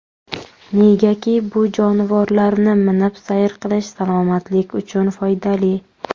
Negaki, bu jonivorlarni minib sayr qilish salomatlik uchun foydali.